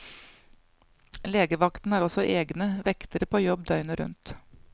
Legevakten har også egne vektere på jobb døgnet rundt.